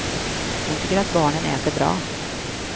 Hon tycker att barnen äter bra.